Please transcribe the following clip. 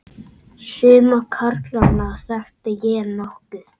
Suma karlana þekkti ég nokkuð.